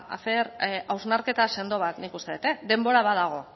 hacer hausnarketa sendo bat nik uste dut denbora nadago